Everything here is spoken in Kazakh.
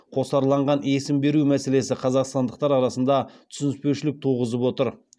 қосарланған есім беру мәселесі қазақстандықтар арасында түсініспеушілік туғызып отыр